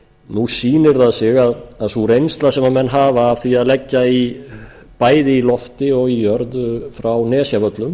nú sýnir það sig að sú reynsla sem menn hafa af því að leggja bæði í lofti og jörðu frá nesjavöllum